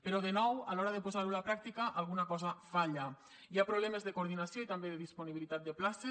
però de nou a l’hora de posar ho a la pràctica alguna cosa falla hi ha problemes de coordinació i també de disponibilitat de places